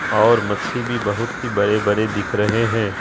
और मच्छी भी बहुत ही बड़े-बड़े दिख रहे है।